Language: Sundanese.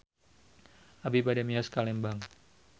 Abi bade mios ka Lembang